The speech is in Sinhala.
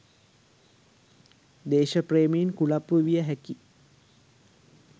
දේශප්‍රේමීන් කුලප්පු විය හැකි